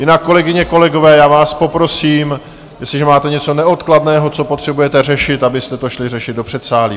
Jinak, kolegyně, kolegové, já vás poprosím, jestliže máte něco neodkladného, co potřebujete řešit, abyste to šli řešit do předsálí.